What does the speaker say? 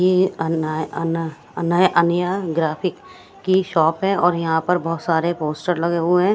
ये अन्ना है अन्ना अन्ना है अन्य ग्राफिक की शॉप है और यहां पर बहोत सारे पोस्टर लगे हुए है।